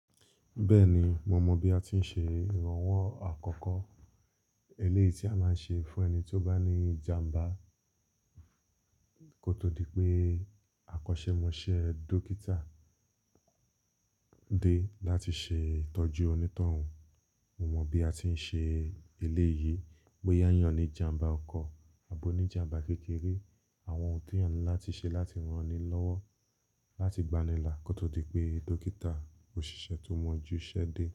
Bẹ́ẹ̀ni, mo mọ bí a ti ń ṣe ìrànwọ́ àkọ́kọ́. Eléyìí tí a máa ń ṣe fún ẹni tí ó bá ní ìjàmbá kótó dí pé àkọ́ṣẹ́ mọṣẹ́ dókítà dé láti ṣe ìtọ́jú onítọ̀hún. Mo mọ bí a ti ń ṣe eléyìí bóyá ń yàn ni ìjàmbá ọkọ̀ àbó ní ìjàmbá kékeré, àwọn ohun tí eeyan ń láti ṣe láti rán ni lọ́wọ́ láti gbanila kótó dí pé dókítà ò ṣiṣẹ́ tó mọ́jú ṣẹ́ dé.